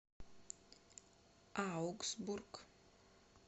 аугсбург